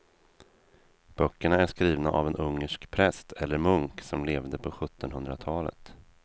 Böckerna är skrivna av en ungersk präst eller munk som levde på sjuttonhundratalet.